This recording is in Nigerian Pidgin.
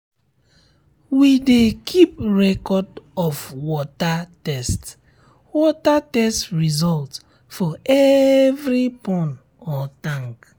we dey keep record of water test water test result for every pond or tank